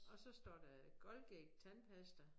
Og så står der Colgate tandpasta